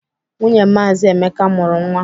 Nwunye Maazi Emeka mụrụ nwa.